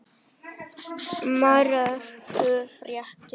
Marorku fréttir